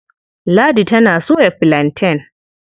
Ladi tana soya filanten.